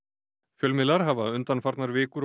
fjölmiðlar hafa undanfarnar vikur